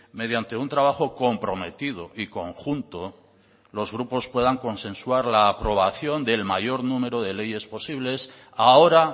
mediante un trabajo comprometido y conjunto los grupos puedan consensuar la aprobación del mayor número de leyes posibles ahora